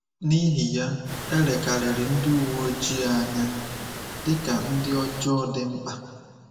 N’ihi ya, e lekarịrị ndị uwe ojii anya dị ka ndị ọjọọ dị mkpa.